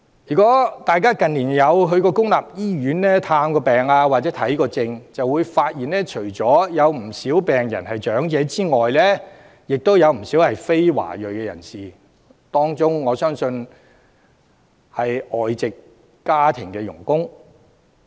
如果大家近年曾前往公立醫院探病或看病便會發現，病人除了有不少是長者外，亦有不少是非華裔人士，我相信當中有很多是外籍家庭傭工。